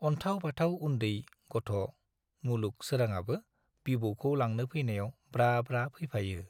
अन्थाव बाथाव उन्दै गथ' मुलुग सोराङाबो बिबौखौ लांनो फैनायाव ब्रा ब्रा फैफायो।